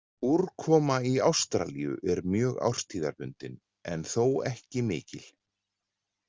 Úrkoma í Ástralíu er mjög árstíðabundin en þó ekki mikil.